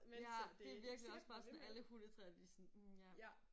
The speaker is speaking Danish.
Ja det virkelig også bare sådan alle hundetrænere de sådan mh ja